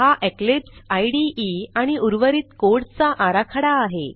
हा इक्लिप्स इदे आणि उर्वरित कोड चा आराखडा आहे